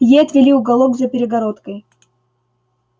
ей отвели уголок за перегородкой